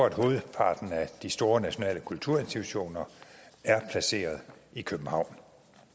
at hovedparten af de store nationale kulturinstitutioner er placeret i københavn